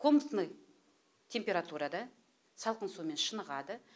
комнатный температурада салқын сумен шынығады